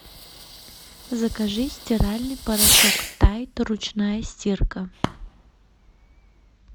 закажи стиральный порошок тайд ручная стирка